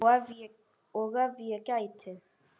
Og ef ég gæti.?